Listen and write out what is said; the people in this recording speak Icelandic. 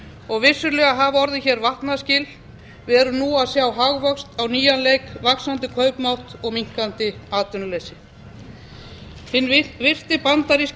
og vissulega hafa orðið hér vatnaskil við erum nú að sjá hagvöxt á nýjan leik vaxandi kaupmátt og minnkandi atvinnuleysi hinn virti bandaríski